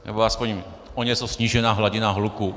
Nebo alespoň o něco snížená hladina hluku.